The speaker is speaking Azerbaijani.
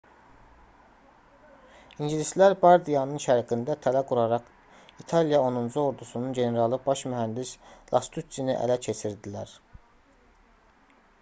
i̇ngilislər bardianın şərqində tələ quraraq i̇taliya 10-cu ordusunun generalı baş mühəndis lastuççini ələ keçirdilər